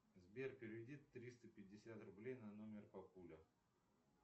сбер переведи триста пятьдесят рублей на номер папуля